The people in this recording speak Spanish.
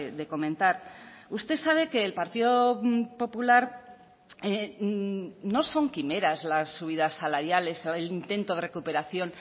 de comentar usted sabe que el partido popular no son quimeras las subidas salariales o el intento de recuperación